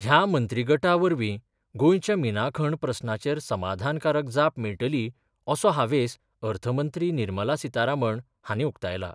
ह्या मंत्रीगटा वरवीं गोंयच्या मिना खण प्रस्नाचेर समाधानकारक जाप मेळटली असो हावेस अर्थ मंत्री निर्मला सीतारामन हांणी उक्तायला.